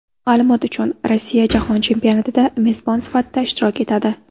Ma’lumot uchun, Rossiya Jahon chempionatida mezbon sifatida ishtirok etadi.